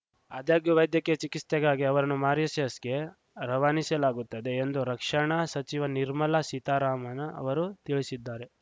ಆದಾಗ್ಯೂ ವೈದ್ಯಕೀಯ ಚಿಕಿಸ್ತೆಗಾಗಿ ಅವರನ್ನು ಮಾರಿಷಸ್‌ಗೆ ರವಾನಿಸಲಾಗುತ್ತದೆ ಎಂದು ರಕ್ಷಣಾ ಸಚಿವೆ ನಿರ್ಮಲಾ ಸೀತಾರಾಮನ್‌ ಅವರು ತಿಳಿಶಿದ್ದಾರೆ